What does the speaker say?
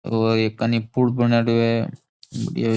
ओ एक कानी पुल बनेड़ो है ये --